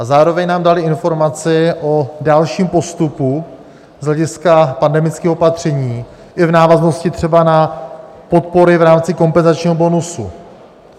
a zároveň nám dali informaci o dalším postupu z hlediska pandemických opatření i v návaznosti třeba na podpory v rámci kompenzačního bonusu.